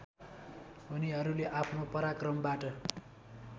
उनीहरूले आफ्नो पराक्रमबाट